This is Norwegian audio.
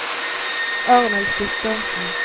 Arnulf Guttormsen